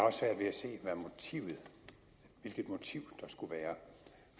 se hvilket motiv der skulle være